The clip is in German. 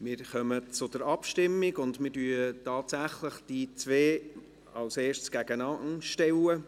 Wir kommen zur Abstimmung, und wir stellen tatsächlich als Erstes diese beiden Anträge einander gegenüber.